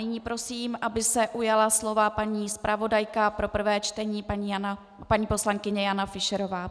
Nyní prosím, aby se ujala slova paní zpravodajka pro prvé čtení, paní poslankyně Jana Fischerová.